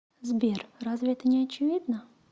сбер разве это не очевидно